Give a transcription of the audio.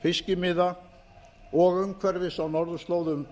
fiskimiða og umhverfis á norðurslóðum